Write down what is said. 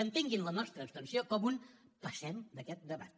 entenguin la nostra abstenció com un passem d’aquest debat